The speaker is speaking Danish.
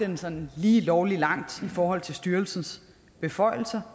den sådan lige lovlig langt i forhold til styrelsens beføjelser